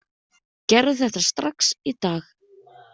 Gerðu þetta strax í dag!